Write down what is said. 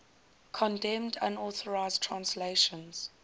condemned unauthorized translations